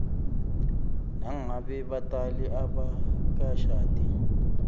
nangabe batali abakashadi